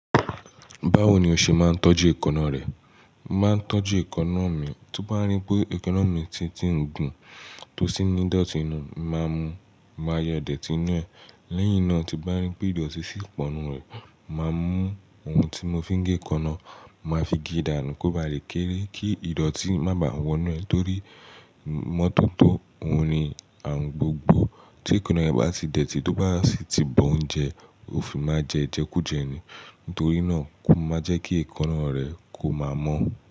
Báwo ni o ṣe máa ń tọ́jú èékánná rẹ? Màá ń tọ́jú èékánná mi, ti n bá rí pé èékánná mi ti ń gùn tó sì ní ìdọ̀tí inú, mo màá mu máa yọ idẹ́tì ninú ẹ̀. Lẹ́yìn náà, tí n bá rí pé ìdọ̀tí sì pọ̀ nínú rẹ̀, mo màá mú ohun tí mo fi ń gé èékánná, mo màá fi gé dànù kó ba lè kéré kí ìdọ̀tí má ba wọ́nú ẹ̀ torí imọ́tọ́tó òun ni àarun gbogbo. Tí èékánná rẹ bá ti dẹ̀tì, tí ó bá sì ti bọ oúnjẹ, ó fi máa jẹ ẹ ijẹ kú jẹ ni. Nítorí náà, kó máa jẹ́ kí èékánná rẹ kó máa mọ́